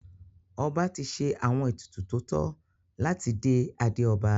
Ọba ti ṣe àwọn ètùtù tó tọ́ láti dé adé ọba.